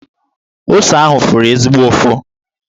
Ose ahụ fụrụ ezigbo ụfụ.